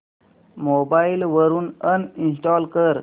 mobile वरून uninstall कर